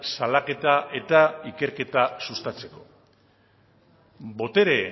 salaketa eta ikerketa sustatzeko botere